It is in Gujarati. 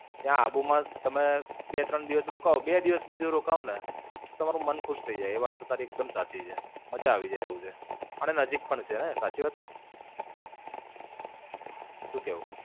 ત્યાં આબુ માં તમે બે ત્રણ દિવસ રોકાવ બે દિવસ બીજું રોકાવ ને તો તમારું મન ખુશ થઇ જાય. વાત તો તારી એકદમ સાચી છે. મજા આવી જાય એક છે. અને નજીક પણ છે ને? સાચી વાત નઈ?